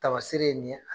Tamasere ye nin ye